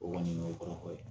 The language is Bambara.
O kɔni o ye kɔrɔfɔ ye